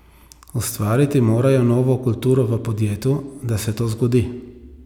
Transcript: Ustvariti morajo novo kulturo v podjetju, da se to zgodi.